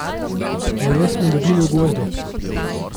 Veje smo dobili v gozdu.